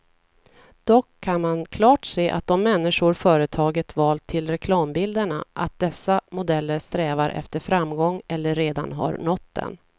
Dock kan man klart se av de människor företaget valt till reklambilderna, att dessa modeller strävar efter framgång eller redan har nått den.